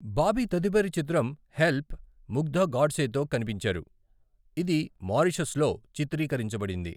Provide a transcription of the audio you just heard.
బాబీ తదుపరి చిత్రం 'హెల్ప్' ముగ్దా గోడ్సే తో కనిపించారు, ఇది మారిషస్లో చిత్రీకరించబడింది.